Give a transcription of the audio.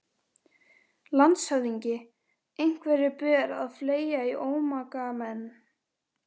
LANDSHÖFÐINGI: Einhverju ber að fleygja í ómagamenn.